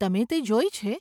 તમે તે જોઈ છે?